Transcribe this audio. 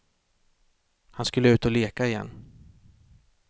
Han skulle ut och leka igen.